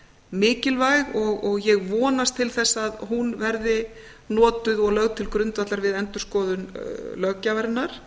mikilvæg og ég vonast til þess að hún verði notuð og lögð til grundvallar við endurskoðun löggjafarinnar